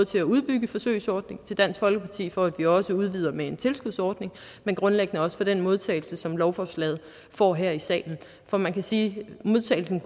til at udbygge forsøgsordningen og til dansk folkeparti for at vi også udvider med en tilskudsordning men grundlæggende også for den modtagelse som lovforslaget får her i salen for man kan sige at modtagelsen